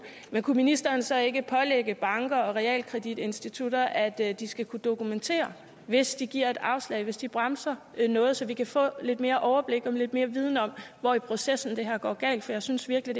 men kunne ministeren så ikke pålægge banker og realkreditinstitutter at de skal kunne dokumentere hvis de giver et afslag hvis de bremser noget så vi kan få lidt mere overblik og lidt mere viden om hvor i processen det her går galt for jeg synes virkelig